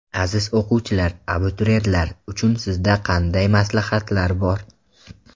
Aziz o‘quvchilar, abituriyentlar uchun sizda qanday maslahatlar bor?